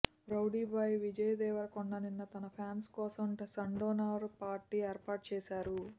rowdy boy Vijay Deverakonda నిన్న తన fans కోసం సన్డౌనర్ పార్టీ ఏర్పాటుచేసారు